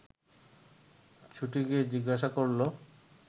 ছুটে গিয়ে জিজ্ঞাসা করল